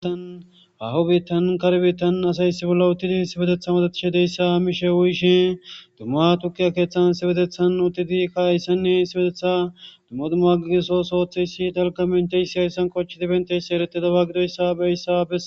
Haho biittan kar biittan asayssi bolla uttidi issipetetha odathishe deyssa mishe uyishin dumma tukiya keeththan issipetethan uttidikka kayssanne isioetethan dumma dumma gidiso sooththeysi talka benteyssi hayssan qoncidi bethiysi ereteda ba gidoyssa besses.